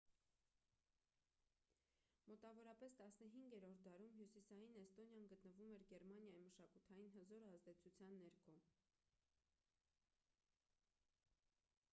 մոտավորապես 15-րդ դարում հյուսիսային էստոնիան գտնվում էր գերմանիայի մշակութային հզոր ազդեցության ներքո